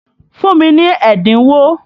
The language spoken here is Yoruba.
Fún mi ní ẹ́dínwó!